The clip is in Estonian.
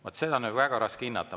Vaat seda on väga raske hinnata.